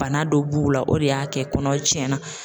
Bana dɔ b'u la o de y'a kɛ kɔnɔ tiɲɛna.